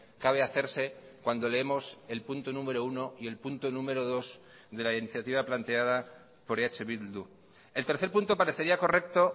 cabe hacerse cuando leemos el punto número uno y el punto número dos de la iniciativa planteada por eh bildu el tercer punto parecería correcto